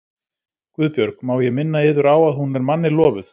GUÐBJÖRG: Má ég minna yður á að hún er manni lofuð.